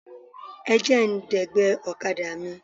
Ẹ jẹ́ ń dẹ̀gbẹ́ ọ̀kadà mi.